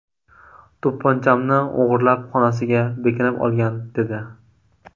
To‘pponchamni o‘g‘irlab xonasiga bekinib olgan”, dedi.